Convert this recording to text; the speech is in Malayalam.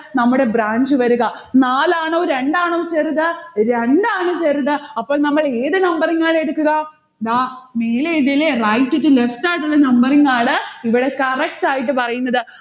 നമ്മുടെ branch വരുക. നാലാണോ രണ്ടാണോ ചെറുത്? രണ്ടാണ് ചെറുത്. അപ്പോൾ നമ്മൾ ഏതു numbering ആണ് എടുക്കുക? ദാ മേലേത് ല്ലേ. right to left ആയിട്ടുള്ള numbering ആണ് ഇവിടെ correct ആയിട്ട് പറയുന്നത്.